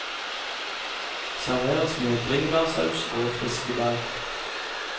Serveres med bringebærsaus og friske bær.